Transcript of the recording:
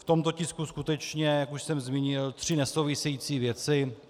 V tomto tisku skutečně, jak už jsem zmínil, tři nesouvisející věci.